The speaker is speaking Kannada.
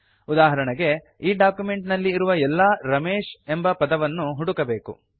ಉದಾಹರಣೆಗೆ ಈ ಡಾಕ್ಯುಮೆಂಟ್ ನಲ್ಲಿ ಇರುವ ಎಲ್ಲಾ ರಮೇಶ್ ಎಂಬ ಪದವನ್ನು ಹುಡುಕಬೇಕು